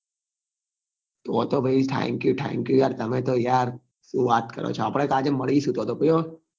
તો તો પહી thank you thankyou યાર તમે તો યાર શું વાત કરો છો આપડે તો આજે મળીશું તો તો પહી હો